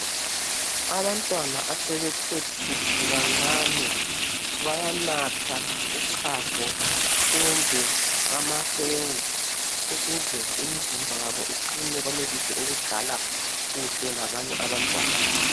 Abantwana abasebethuthu kancane bayanatha uchago kumbe amahewu ukuze imizimba yabo iqini benelise ukudlala kuhle labanye abantwana.